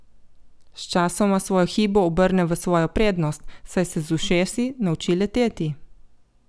Sčasoma svojo hibo obrne v svojo prednost, saj se z ušesi nauči leteti.